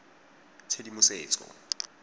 tshedimosetso